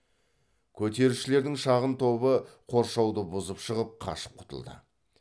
көтерілісшілердің шағын тобы қоршауды бұзып шығып қашып құтылды